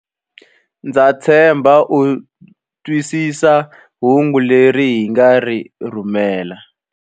Ndza tshemba u twisisa hungu leri hi nga ri rhumela.